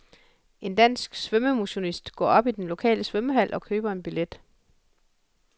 En dansk svømmemotionist går op i den lokale svømmehal og køber en billet.